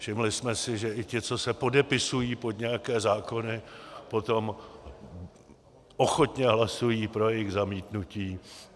Všimli jsme si, že i ti, co se podepisují pod nějaké zákony, potom ochotně hlasují pro jejich zamítnutí.